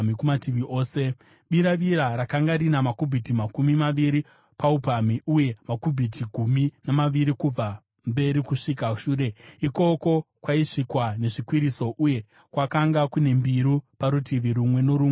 Biravira rakanga rina makubhiti makumi maviri paupamhi, uye makubhiti gumi namaviri kubva mberi kusvika shure. Ikoko kwaisvikwa nezvikwiriso, uye kwakanga kune mbiru parutivi rumwe norumwe rwedzimwe mbiru.